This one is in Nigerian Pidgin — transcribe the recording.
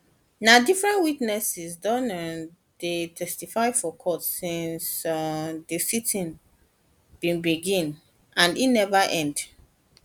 na different witnesses don um dey testify for court since um di siting bin begin and e neva end